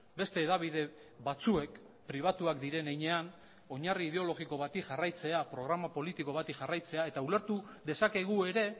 beste hedabide batzuek pribatuak diren heinean oinarri ideologiko bat jarraitzea programa politiko bati jarraitzea eta ulertu dezakegu ere